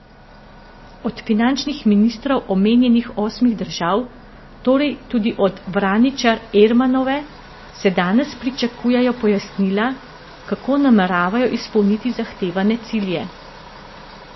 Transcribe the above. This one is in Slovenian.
Od finančnih ministrov omenjenih osmih držav, torej tudi od Vraničar Ermanove, se danes pričakujejo pojasnila, kako nameravajo izpolniti zahtevane cilje.